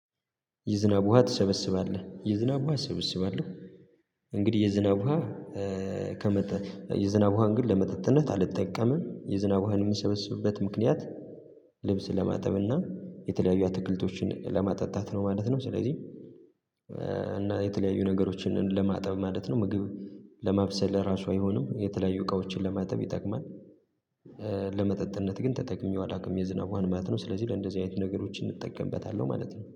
የዝናብ ውሃ ትሰበስባለህ? የዝናብ ውሃ እሰበስባለሁ እንግዲህ የዝናብ ውሃ ከመጣ የዝናብ ውሃን ግን ለመጠጥነት አልተጠቀመም የዝናብ ውሃን የሚሰበስብበት ምክንያት ልብስ ለማጠብና የተለያዩ አትክልቶችን ለማጠጣት ነው ማለት ነው ስለዚህ እና የተለያዩ ነገሮችን ለማጠብ ማለት ነው ምግብ ለማብሰል እራሱ አይሆንም የተለያዩ እቃዎችን ለማጠብ ይጠቅማል ለመጠጥነት ግን ተጠቅሜው አላቅም ዝናብ ማለት ነው ስለዚህ ለእንደዚህ አይነት ነገሮችን እጠቀምበታለሁ ማለት ነው